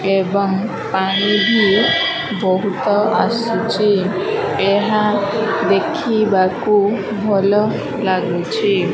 ଏବଂ ପାଣିବି ବହୁତ ଆସୁଛି ଏହା ଦେଖିବାକୁ ଭଲ ଲାଗୁଛି।